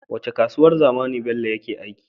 Wacce kasuwar zamani bello yake aiki